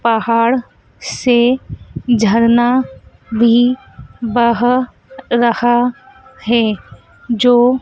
पहाड़ से झरना भी बह रहा है जो--